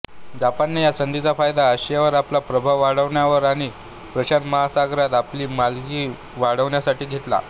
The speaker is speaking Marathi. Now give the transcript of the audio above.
जपानने या संधीचा फायदा आशियावर आपला प्रभाव वाढवण्यावर आणि प्रशांत महासागरात आपली मालकी वाढवण्यासाठी घेतला